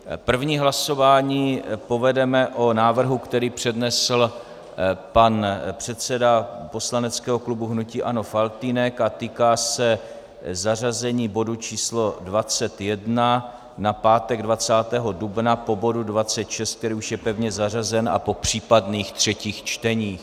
První hlasování povedeme o návrhu, který přednesl pan předseda poslaneckého klubu hnutí ANO Faltýnek a týká se zařazení bodu číslo 21 na pátek 20. dubna po bodu 26, který už je pevně zařazen, a po případných třetích čteních.